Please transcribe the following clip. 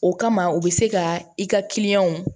O kama u bɛ se ka i ka